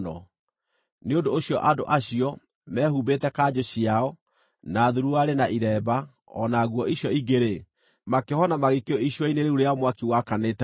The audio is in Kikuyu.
Nĩ ũndũ ũcio andũ acio, mehumbĩte kanjũ ciao, na thuruarĩ, na iremba, o na nguo icio ingĩ-rĩ, makĩohwo na magĩikio icua-inĩ rĩu rĩa mwaki wakanĩte mũno.